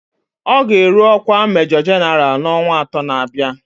Ọ ga-eru ọkwa Majọ Jenaralụ n'ọnwa atọ na-abịa